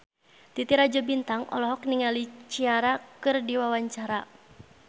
Titi Rajo Bintang olohok ningali Ciara keur diwawancara